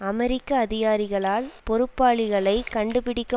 அமெரிக்க அதிகாரிகளால் பொறுப்பாளிகளைக் கண்டுபிடிக்க